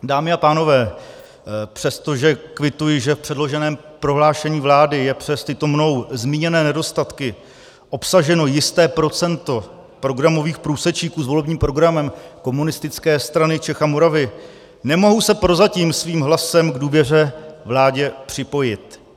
Dámy a pánové, přestože kvituji, že v předloženém prohlášení vlády je přes tyto mnou zmíněné nedostatky obsaženo jisté procento programových průsečíků s volebním programem Komunistické strany Čech a Moravy, nemohu se prozatím svým hlasem k důvěře vládě připojit.